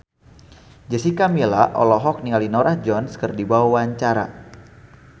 Jessica Milla olohok ningali Norah Jones keur diwawancara